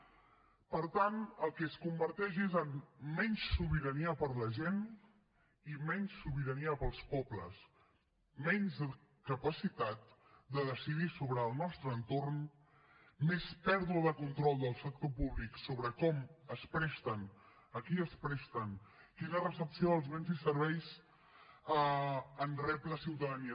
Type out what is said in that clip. per tant el que es converteix és en menys sobirania per a la gent i menys sobirania per als pobles menys capacitat de decidir sobre el nostre entorn més pèrdua de control del sector públic sobre com es presten a qui es presten quina recepció dels béns i serveis rep la ciutadania